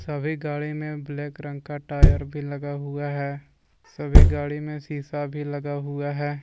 सभी गाडी में ब्लैक रंग का टायर भी लगा हुआ है सभी गाडी में शीशा भी लगा हुआ है।